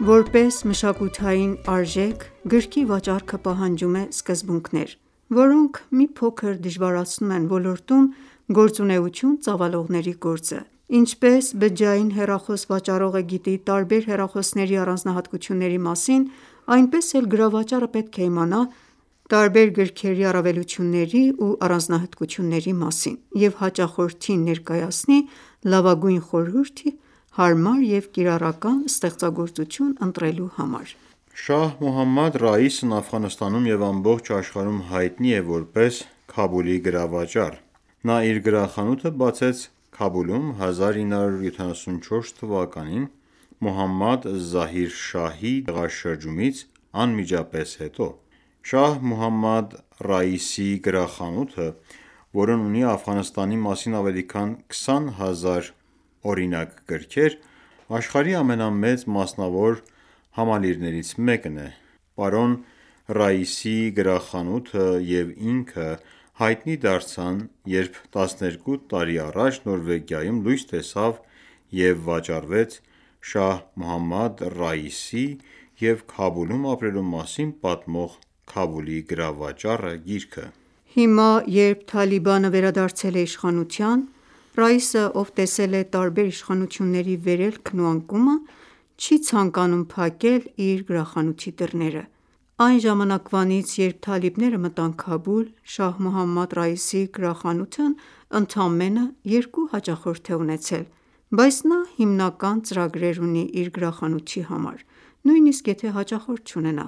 Որպես մշակութային արժեք գրքի վաճառքը պահանջում է սկզբունքներ, որոնք մի փոքր դժվարացնում են ոլորտում գործունեություն ծավալողների գործը: Ինչպես բջջային հեռախոս վաճառողը գիտի տարբեր հեռախոսների առանձնահատկությունների մասին, այնպես էլ գրավաճառը պետք է իմանա տարբեր գրքերի առավելությունների ու առանձնահատկությունների մասին և հաճախորդին ներկայացնի լավագույն խորհուրդը՝ հարմար և կիրառական ստեղծագործություն ընտրելու համար: Շահ Մոհամմադ Ռայիսն Աֆղանստանում և ամբողջ աշխարհում հայտնի է որպես «Քաբուլի գրավաճառ»: Նա իր գրախանութը բացեց Քաբուլում 1974 թվականին՝ Մոհամմադ Զահիր Շահի դեմ հեղաշրջումից անմիջապես հետո։ Շահ Մոհամմադ Ռայիսի գրախանութը, որն ունի Աֆղանստանի մասին ավելի քան 20 հազար օրինակ գրքեր, աշխարհի ամենամեծ մասնավոր համալիրներից մեկն է: Պարոն Ռայիսի գրախանութը և ինքը, հայտնի դարձան երբ 12 տարի առաջ Նորվեգիայում լույս տեսավ և վաճառվեց Շահ Մոհամմադ Ռայիսի և Քաբուլում ապրելու մասին պատմող «Քաբուլի գրավաճառը» գիրքը: Հիմա, երբ «Թալիբան»ը վերադարձել է իշխանության, Ռայիսը, ով տեսել է տարբեր իշխանությունների վերելքն ու անկումը, չի ցանկանում փակել իր գրախանութի դռները: Այն ժամանակվանից, երբ թալիբները մտան Քաբուլ, Շահ Մոհամմադ Ռայիսի գրախանութն ընդամենը երկու հաճախորդ է ունեցել: Բայց նա հիմնական ծրագրեր ունի իր գրախանութի համար, նույնիսկ եթե հաճախորդ չունենա։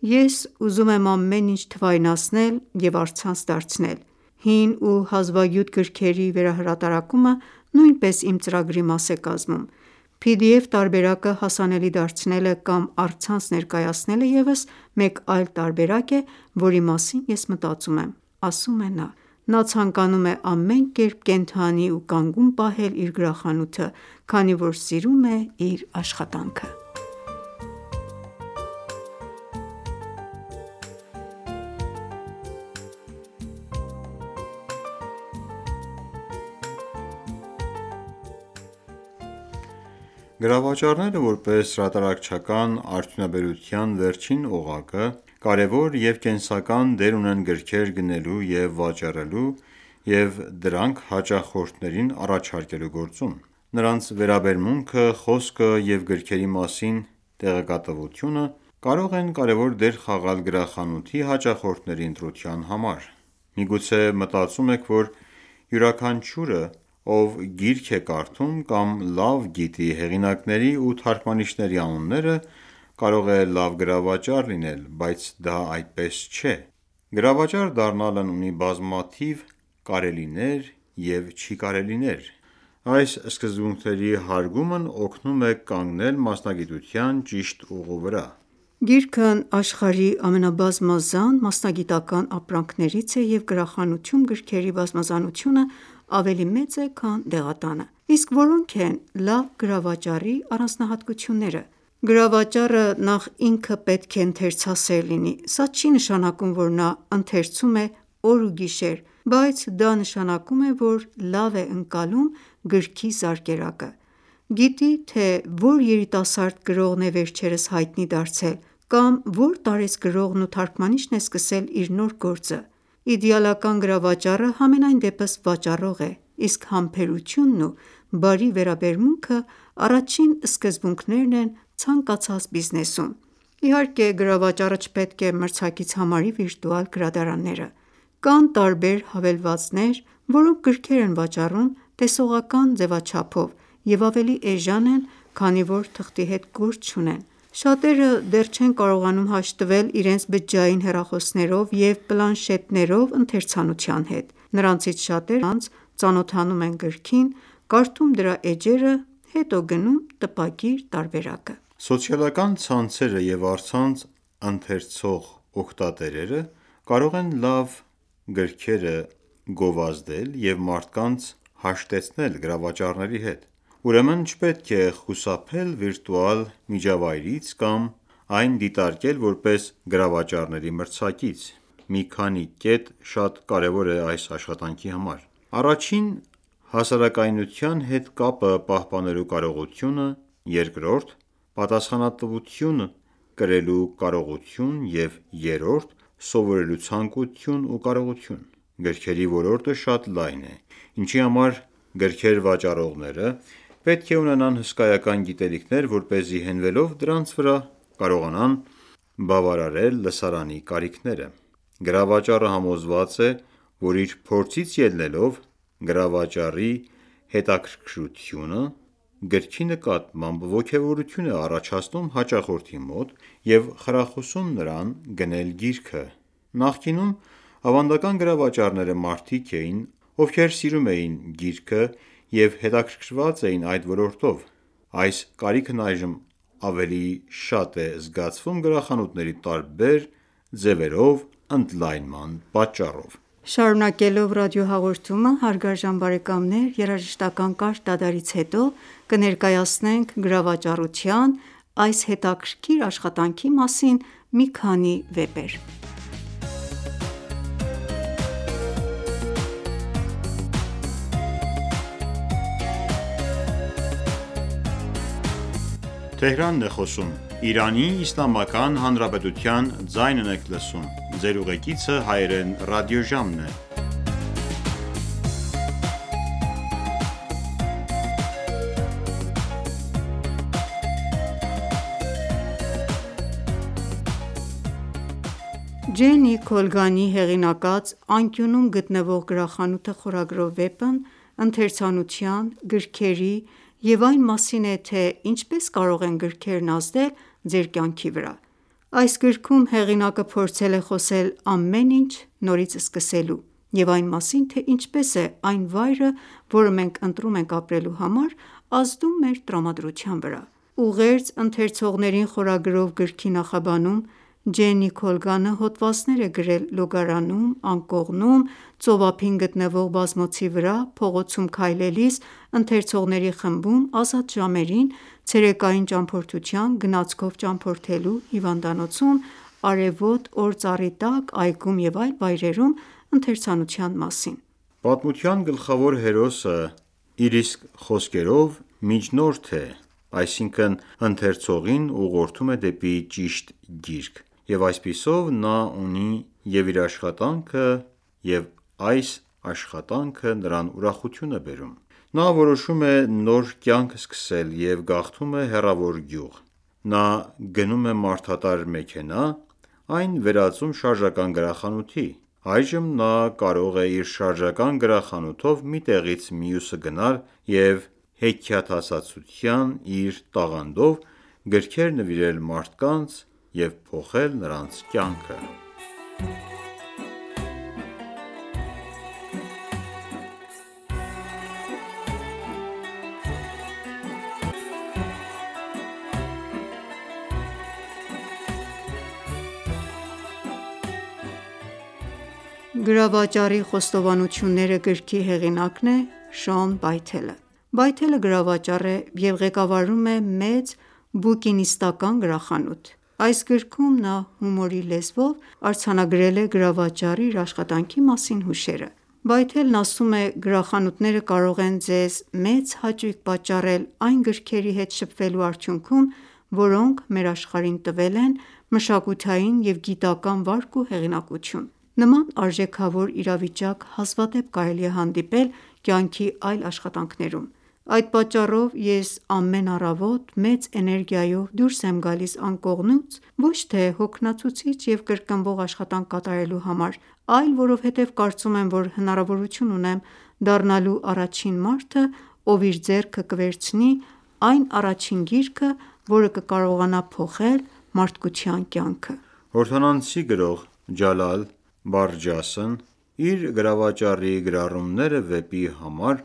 «Ես ուզում եմ ամեն ինչ թվայնացնել և առցանց դարձնել։ Հին ու հազվագյուտ գրքերի վերահրատարակումը նույնպես իմ ծրագրի մաս է կազմում։ PDF տարբերակը հասանելի դարձնելը կամ առցանց ներկայացնելը եւս մեկ այլ տարբերակ է, որի մասին ես մտածում եմ»,- ասում է նա: Նա ցանկանում է ամեն կերպ կենդանի ու կանգուն պահել իր գրախանութը, քանի որ սիրում է իր աշխատանքը։ Գրավաճառները, որպես հրատարակչական արդյունաբերության վերջին օղակը, կարևոր և կենսական դեր ունեն գրքեր գնելու և վաճառելու և դրանք հաճախորդներին առաջարկելու գործում: Նրանց վերաբերմունքը, խոսքը և գրքերի մասին տեղեկատվությունը կարող են կարևոր դեր խաղալ գրախանութի հաճախորդների ընտրության համար: Միգուցե մտածում եք, որ յուրաքանչյուրը, ով գիրք է կարդում կամ լավ գիտի հեղինակների ու թարգմանիչների անունները, կարող է լավ գրավաճառ լինել, բայց դա այդպես չէ, և գրավաճառ դառնալն ունի բազմաթիվ կարելիներ և չի կարելիներ: Այս սկզբունքների հարգումն օգնում են կանգնել մասնագիտության ճիշտ ուղու վրա: Գիրքն աշխարհի ամենաբազմազան մասնագիտական ​​ապրանքներից է, և գրախանութում գրքերի բազմազանությունը ավելի մեծ է, քան դեղատանը: Իսկ որո՞նք են լավ գրավաճառի առանձնահատկությունները: Գրավաճառը նախ ինքը պետք է ընթերցասեր լինի: Սա չի նշանակում, որ նա ընթերցում է օր ու գիշեր, բայց դա նշանակում է, որ լավ է ընկալում գրքի զարկերակը: Գիտի թե ո՞ր երիտասարդ գրողն է վերջերս հայտնի դարձել կամ ո՞ր տարեց գրողն ու թարգմանիչն է սկսել իր նոր գործը։ Իդեալական գրավաճառը, համենայնդեպս վաճառող է, իսկ համբերությունն ու բարի վերաբերմունքը առաջին սկզբունքներն են ցանկացած բիզնեսում: Իհարկե, գրավաճառը չպետք է մրցակից համարի վիրտուալ գրադարանները։ Կան տարբեր հավելվածներ, որոնք գրքեր են վաճառում տեսողական ձեւաչափով և ավելի էժան են, քանի որ թղթի հետ գործ չունեն: Շատերը դեռ չեն կարողանում հաշտվել իրենց բջջային հեռախոսներով և պլանշետներով ընթերացնության հետ։ Նրանցից շատերը առցանց ծանոթանում են գրքին, կարդում դրա էջերը, հետո գնում տպագիր տարբերակը: Սոցիալական ցանցերը և առցանց ընթերցող օգտատերերը կարող են լավ գրքերը գովազդել և մարդկանց հաշտեցնել գրավաճառների հետ: Ուրեմն չպետք է խուսափել վիրտուալ միջավայրից կամ այն ​​դիտարկել որպես գրավաճառների մրցակից։ Մի քանի կետ շատ կարևոր է այս աշխատանքի համար. Առաջին՝ հասարակայնության հետ կապը պահպանելու կարողություն, երկրորդ՝ պատասխանատվություն կրելու կարողություն և երրորդ՝ սովորելու ցանկություն ու կարողություն: Գրքերի ոլորտը շատ լայն է, ինչի համար, գրքեր վաճառողները պետք է ունենան հսկայական գիտելիքներ, որպեսզի հենվելով դրանց վրա, կարողանան բավարարել լսարանի կարիքները: Գրավաճառը համոզված է, որ իր փորձից ելնելով` գրավաճառի հետաքրքրությունը գրքի նկատմամբ ոգևորություն է առաջացնում հաճախորդի մոտ և խրախուսում նրան գնել գիրքը: Նախկինում ավանդական գրավաճառները մարդիկ էին, ովքեր սիրում էին գիրքը և հետաքրքրված էին այդ ոլորտով: Այս կարիքն այժմ ավելի շատ է զգացվում գրախանութների տարբեր ձևերով ընդլայնման պատճառով: Շարունակելով ռադիոհաղորդումը, երաժշտական կարճ դադարից հետո կներկայացնենք գրավաճառության, այս հետաքրքիր աշխատանքի մասին մի քանի վեպ: Ջեննի Քոլգանի հեղինակած «Անկյունում գտնվող գրախանութը» խորագրով վեպն ընթերցանության, գրքերի և այն մասին է, թե ինչպես կարող են գրքերն ազդել ձեր կյանքի վրա: Այս գրքում հեղինակը փորձել է խոսել ամեն ինչ նորից սկսելու և այն մասին, թե ինչպես է այն վայրը, որը մենք ընտրում ենք ապրելու համար, ազդում մեր տրամադրության վրա: «Ուղերձ ընթերցողներին» խորագրով գրքի նախաբանում, Ջենի Քոլգանը հոդվածներ է գրել լոգարանում, անկողնում, ծովափին գտնվող բազմոցի վրա, փողոցում քայլելիս, ընթերցողների խմբում, ազատ ժամերին, ցերեկային ճամփորդության, գնացքով ճամփորդելու, հիվանդանոցում, արևոտ օր ծառի տակ, այգում և այլ վայրերում ընթերացնության մասին: Պատմության գլխավոր հերոսը, իր իսկ խոսքերով, միջնորդ է. այսինքն՝ ընթերցողին ուղղորդում է դեպի ճիշտ գիրք, և այսպիսով նա ունի և՛ իր աշխատանքը, և՛ այս աշխատանքը նրան ուրախություն է բերում: Նա որոշում է նոր կյանք սկսել և գաղթում է հեռավոր գյուղ: Նա գնում է մարդատար մեքենա այն վերածում շարժական գրախանութի։ Այժմ նա կարող է իր շարժական գրախանութով մի տեղից մյուսը գնալ և հեքիաթասացության իր տաղանդով գրքեր նվիրել մարդկանց և փոխել նրանց կյանքը... «Գրավաճառի խոստովանությունները» գրքի հեղինակն է Շոն Բայթելը:Բայթելը գրավաճառ է և ղեկավարում է մեծ բուկինիստական ​​գրախանութ: Այս գրքում նա հումորի լեզվով արձանագրել է գրավաճառի իր աշխատանքի մասին հուշերը: Բայթելն ասում է.«Գրախանութները կարող են ձեզ մեծ հաճույք պատճառել այն գրքերի հետ շփվելու արդյունքում, որոնք մեր աշխարհին տվել են մշակութային և գիտական վարկ ու հեղինակություն: Նման արժեքավոր իրավիճակ հազվադեպ կարելի է հանդիպել կյանքի այլ աշխատանքներում: Այդ պատճառով, ես ամեն առավոտ մեծ էներգիայով դուրս եմ գալիս անկողնուց, ոչ թե հոգնեցուցիչ և կրկնվող աշխատանք կատարելու համար, այլ որովհետև կարծում եմ, որ հնարավորություն ունեմ դառնալու առաջին մարդը, ով իր ձեռքը կվերցնի այն առաջին գիրքը, որը կկարողանա փոխել մարդկության կյանքը»: Հորդանանցի գրող Ջալալ Բարջասն իր «Գրավաճառի գրառումները» վեպի համար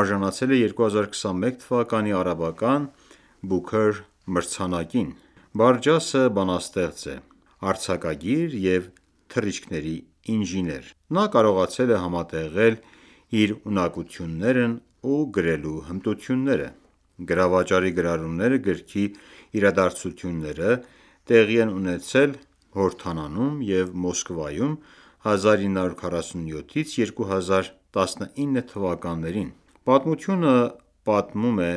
արժանացել է 2021 թվականի արաբական Booker մրցանակին: Բարջասը բանաստեղծ է, արձակագիր և թռիչքների ինժեներ: Նա կարողացել է համատեղել իր ունակություններն ու գրելու հմտությունները։ «Գրավաճառի գրառումները» գրքի իրադարձությունները տեղի են ունեցել Հորդանանում և Մոսկվայում 1947-2019 թվականներին: Պատմությունը պատմում է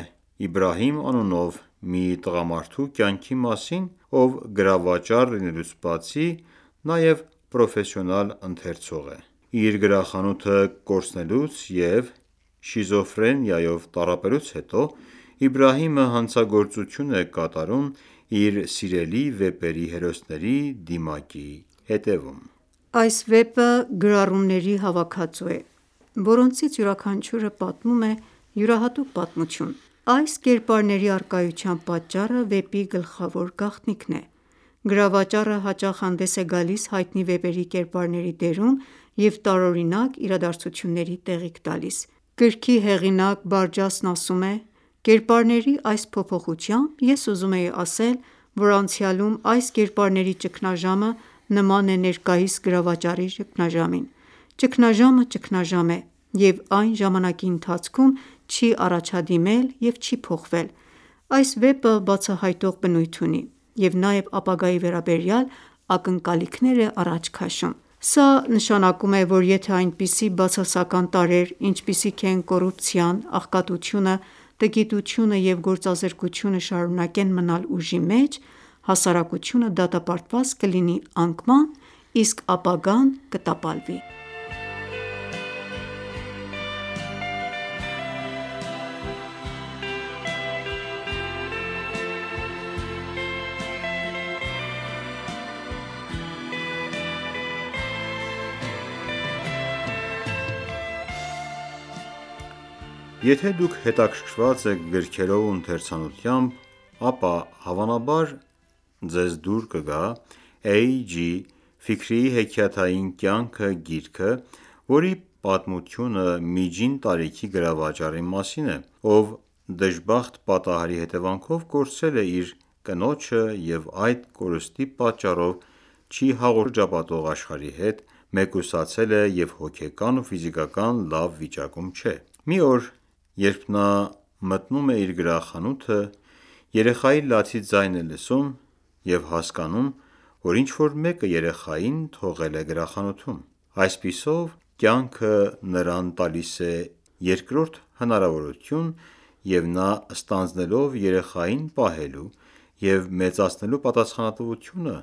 Իբրահիմ անունով մի տղամարդու կյանքի մասին, ով գրավաճառ լինելուց բացի, նաև պրոֆեսիոնալ ընթերցող է։ Իր գրախանութը կորցնելուց և շիզոֆրենիայով տառապելուց հետո Իբրահիմը հանցագործություն է կատարում իր սիրելի վեպերի հերոսների դիմակի հետևում։ Այս վեպը գրառումների հավաքածու է, որոնցից յուրաքանչյուրը պատմում է յուրահատուկ պատմություն: Այս կերպարների առկայության պատճառը վեպի գլխավոր գաղտնիքն է։ Գրավաճառը հաճախ հանդես է գալիս հայտնի վեպերի կերպարների դերում և տարօրինակ իրադարձությունների տեղիք տալիս։ Գրքի հեղինակ Բարջասն ասում է․ «Կերպարների այս փոփոխությամբ ես ուզում էի ասել, որ անցյալում այս կերպարների ճգնաժամը նման է ներկայիս գրավաճառի ճգնաժամին։ Ճգնաժամը ճգնաժամ է, և այն ժամանակի ընթացքում չի առաջադիմել և չի փոխվել: Այս վեպը բացահայտող բնույթ ունի և նաև ապագայի վերաբերյալ ակնկալիքներ է առաջ քաշում։ Սա նշանակում է, որ եթե այնպիսի բացասական տարրեր, ինչպիսիք են կոռուպցիան, աղքատությունը, տգիտությունը և գործազրկությունը շարունակեն մնալ ուժի մեջ, հասարակությունը դատապարտված կլինի անկման, իսկ ապագան կտապալվի: Եթե ​​դուք հետաքրքրված եք գրքերով ու ընթերցանությամբ, ապա հավանաբար ձեզ դուր կգա «Էյ. Ջի. Ֆիքրիի հեքիաթային կյանքը» գիրքը, որի պատմությունը միջին տարիքի գրավաճառի մասին է, ով դժբախտ պատահարի հետևանքով կորցրել է իր կնոջը և այդ կորստի պատճառով չի հաղորդակցվում շրջապատող աշխարհի հետ, մեկուսացել է և հոգեկան ու ֆիզիկական լավ վիճակում չէ։ Մի օր, երբ նա մտնում է իր գրախանութը, երեխայի լացի ձայն է լսում, և հասկանում, որ ինչ-որ մեկը երեխային թողել է գրախանութում։ Այսպիսով կյանքը նրան տալիս է երկրորդ հնարավորություն և նա ստանձնելով երեխային պահելու և մեծացնելու պատասխանատվությունը,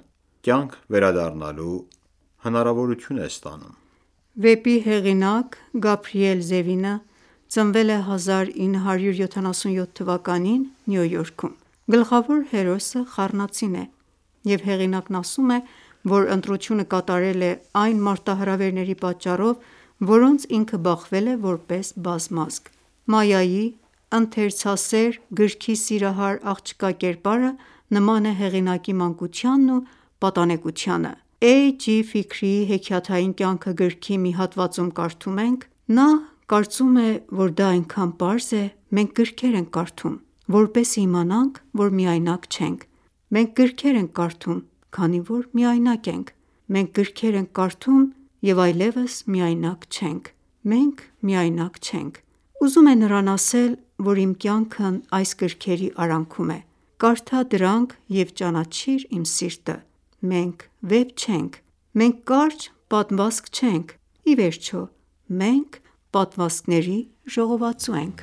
կյանք վերադառնալու հնարավորություն է ստանում։ Վեպի հեղինակ Գաբրիել Զևինը ծնվել է 1977 թվականին Նյու Յորքում։ Գլխավոր հերոսը խառնածին է, և հեղինակն ասում է, որ ընտրությունը կատարել է այն մարտահրավերների պատճառով, որոնց ինքը բախվել է որպես բազմազգ: Մայայի՝ ընթերցասեր, գրքի սիրահար աղջկա կերպարը նման է հեղինակի մանկությանն ու պատանեկությանը։ «Էյ․ Ջի․ Ֆիքրիի հեքիաթային ​​կյանքը» գրքի մի հատվածում կարդում ենք. Նա կարծում է, որ դա այնքան պարզ է.... մենք գրքեր ենք կարդում, որպեսզի իմանանք, որ միայնակ չենք: Մենք գրքեր ենք կարդում, քանի որ միայնակ ենք։ Մենք գրքեր ենք կարդում և այլևս միայնակ չենք։ Մենք միայնակ չենք։ Ուզում է նրան ասել, որ իմ կյանքն այս գրքերի արանքում է, կարդա դրանք և ճանաչիր իմ սիրտը: Մենք վեպ չենք։ Մենք կարճ պատմվածք չենք։ Ի վերջո, մենք պատմվածքների ժողովածու ենք: